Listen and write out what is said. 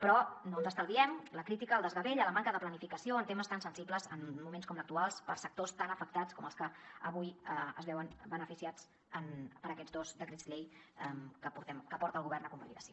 però no ens estalviem la crítica al desgavell a la manca de planificació en temes tan sensibles en moments com l’actual per a sectors tan afectats com els que avui es veuen beneficiats per aquests dos decrets llei que porta el govern a convalidació